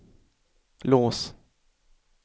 lås